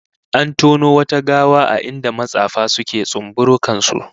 An tono wata gawa a inda matsafa suke tsumburukan su